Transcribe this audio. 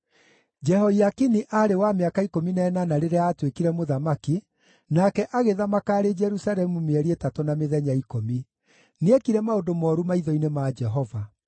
Jehoiakini aarĩ wa mĩaka ikũmi na ĩnana rĩrĩa aatuĩkire mũthamaki, nake agĩthamaka arĩ Jerusalemu mĩeri ĩtatũ na mĩthenya ikũmi. Nĩekire maũndũ mooru maitho-inĩ ma Jehova.